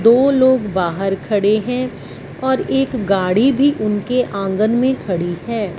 दो लोग बाहर खड़े हैं और एक गाड़ी भी उनके आंगन में खड़ी है।